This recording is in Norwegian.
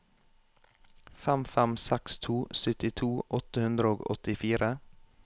fem fem seks to syttito åtte hundre og åttifire